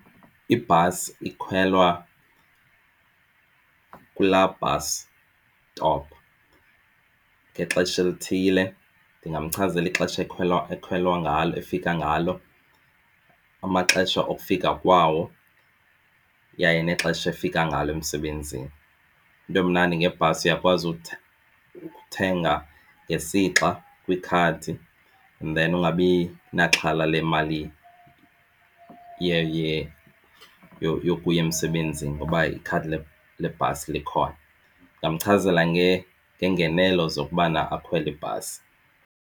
Ibhasi ikhwelwa kula bus stop ngexesha elithile. Ndingamchazela ixesha ekwelwa ekhwelwa ngalo efika ngalo, amaxesha okufika kwawo, yaye nexesha efika ngalo emsebenzini. Into emnandi ngebhasi uyakwazi ukuthenga ngesixa kwikhadi and then ungabi naxhala lemali yokuya emsebenzini ngoba ikhadi lebhasi likhona. Ndingamchazela ngeengenelo zokubana akhwele ibhasi.